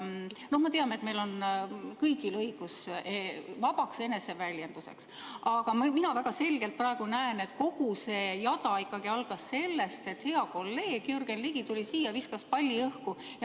No me teame, et meil on kõigil õigus vabaks eneseväljenduseks, aga mina väga selgelt praegu näen, et kogu see jada algas ikkagi sellest, et hea kolleeg Jürgen Ligi tuli siia ja viskas palli õhku.